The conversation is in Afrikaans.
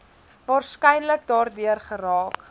waarskynlik daardeur geraak